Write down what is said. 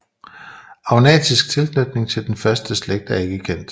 Agnatisk tilknytning til den første slægt er ikke kendt